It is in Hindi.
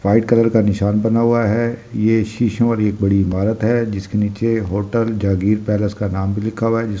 वाइट कलर का निशान बना हुआ है ये शीशों और एक बड़ी इमारत है जिसके नीचे होटल जागीर पेलेस का नाम भी लिखा हुआ है जिस --